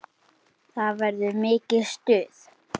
Það verður mikið stuð.